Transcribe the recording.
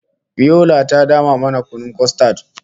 Biola ta dama mana kunun kostad